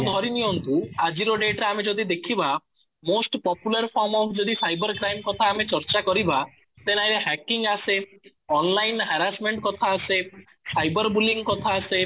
ଧରିନିଅନ୍ତୁ ଆଜିର date ରେ ଆମେ ଯଦି ଦେଖିବା most popular ଯଦି ସାଇବର କ୍ରାଇମ କଥା ଆମେ ଚର୍ଚ୍ଚା କରିବା then hacking ଆସେ online harassment କଥା ଆସେ ସାଇବର bullying କଥା ଆସେ